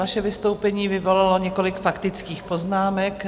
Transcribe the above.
Vaše vystoupení vyvolalo několik faktických poznámek.